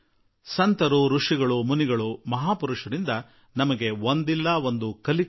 ಸಂತರಿಂದ ಋಷಿ ಮುನಿಗಳಿಂದ ಮಹಾ ಪುರುಷರಿಂದ ಪ್ರತಿಕ್ಷಣವೂ ನಮಗೆ ಒಂದಲ್ಲಾ ಒಂದು ಕಲಿಯುವುದು ಲಭಿಸುತ್ತದೆ